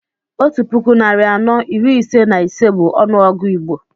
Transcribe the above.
Otú puku narị anọ iri ise na ise bú ọnụọgụ Igbo